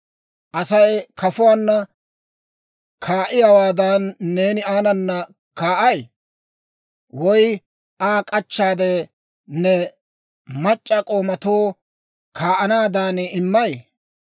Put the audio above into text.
Asay kafuwaanna kaa'iyaawaadan, neeni aanana kaa'ay? Woy Aa k'achchaade, ne mac'c'a k'oomatoo kaa'anaadan immay?